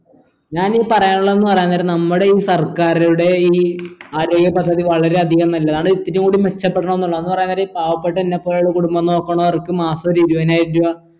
ഞാൻ ഈ പറയാനുള്ളതെന്ന് പറയാൻ നേരം നമ്മുടെ ഈ സർക്കാറുടെ ഈ ആരോഗ്യ പദ്ധതി വളരെ അധികം നല്ലതാണ് ഇത്തിരി കൂടി മെച്ചപ്പെടണം ന്നുള്ളതാണ് പറയാൻ നേരം ഈ പാവപെട്ട എന്നെ പോലുള്ള കുടുംബം നോക്കണോർക്ക് മാസോ ഒരു ഇരുപയിനായിരം രൂപ